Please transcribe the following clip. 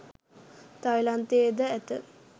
තායිලන්තයේ ද ඇත